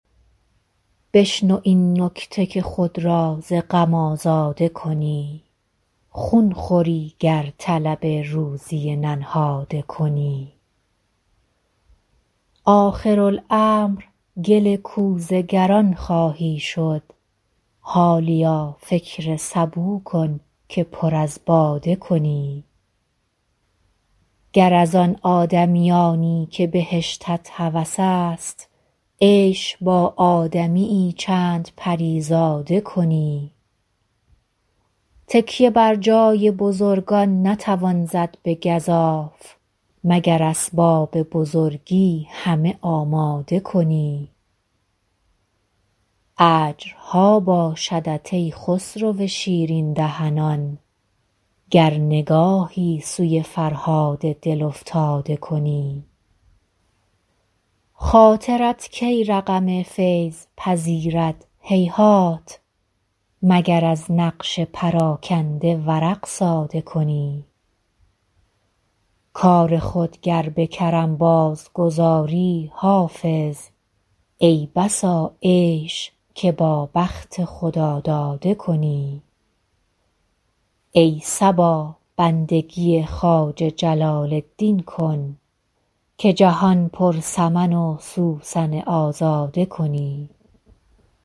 بشنو این نکته که خود را ز غم آزاده کنی خون خوری گر طلب روزی ننهاده کنی آخرالامر گل کوزه گران خواهی شد حالیا فکر سبو کن که پر از باده کنی گر از آن آدمیانی که بهشتت هوس است عیش با آدمی یی چند پری زاده کنی تکیه بر جای بزرگان نتوان زد به گزاف مگر اسباب بزرگی همه آماده کنی اجرها باشدت ای خسرو شیرین دهنان گر نگاهی سوی فرهاد دل افتاده کنی خاطرت کی رقم فیض پذیرد هیهات مگر از نقش پراگنده ورق ساده کنی کار خود گر به کرم بازگذاری حافظ ای بسا عیش که با بخت خداداده کنی ای صبا بندگی خواجه جلال الدین کن که جهان پر سمن و سوسن آزاده کنی